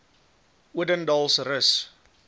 odendaalsrus